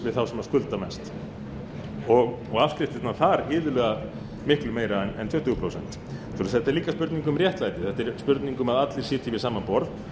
við þá sem skulda mest og afskriftirnar þar iðulega miklu meiri en tuttugu prósent svo þetta er líka spurning um réttlæti þetta er spurning um að allir sitji við sama borð